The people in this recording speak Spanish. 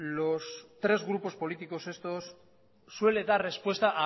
los tres grupos políticos estos suele dar respuesta